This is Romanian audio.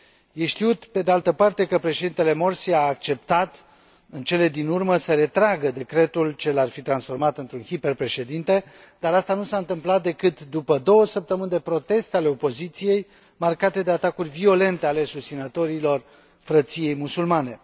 E știut, pe de altă parte, că Președintele Morsi a acceptat, în cele din urmă, să retragă decretul ce l ar fi transformat într un hiperpreședinte, dar aceasta nu s a întâmplat decât după două săptămâni de proteste ale opoziției, marcate de atacuri violente ale susținătorilor Frăției Musulmane.